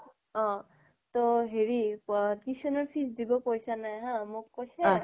ত হেৰী tuition ৰ fees দিব পইচা নাই হা মোক কৈছে